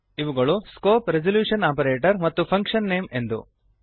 ಇವುಗಳು scope resolution operator ಮತ್ತು function name ಎಂದು